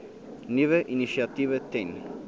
nuwe initiatiewe ten